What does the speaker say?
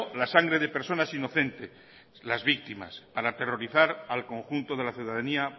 la sangre de personas inocentes las víctimas para aterrorizar al conjunto de la ciudadanía